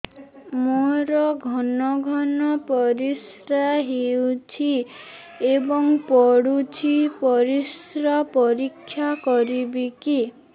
ମୋର ଘନ ଘନ ପରିସ୍ରା ହେଉଛି ଏବଂ ପଡ଼ୁଛି ପରିସ୍ରା ପରୀକ୍ଷା କରିବିକି